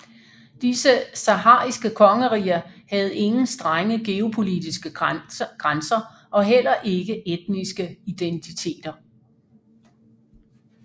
Disse sahariske kongeriger havde ingen strenge geopolitiske grænser og heller ikke etniske identiter